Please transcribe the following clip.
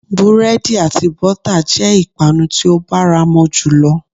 Búrédì àti bótà jé ìpanu tí ó báramo jùlo